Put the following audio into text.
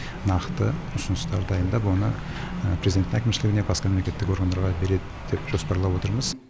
нақты ұсыныстар дайындап оны президент әкімшілігіне басқа мемлекеттік органдарға береді деп жоспарлап отырмыз